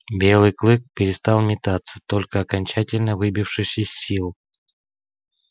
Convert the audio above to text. белый клык перестал метаться только окончательно выбившись из сил